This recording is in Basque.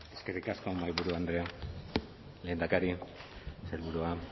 eskerrik asko mahaiburu andrea lehendakari sailburua